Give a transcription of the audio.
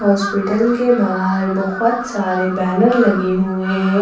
Hospital के बाहर बहुत सारे बैनर लगे हुए हैं।